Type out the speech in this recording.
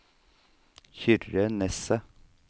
Kyrre Nesset